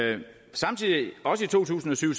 samtidig det også i to tusind og syv